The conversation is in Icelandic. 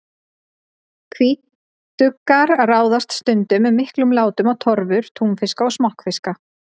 Hvítuggar ráðast stundum með miklum látum á torfur túnfiska og smokkfiska.